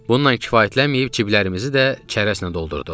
Bununla kifayətlənməyib ciblərimizi də çərəzlə doldurduq.